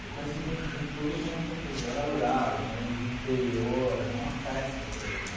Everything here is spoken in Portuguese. Eu conheci gente de tudo quanto era lugar, vinha gente do interior, era uma festa aquele lugar.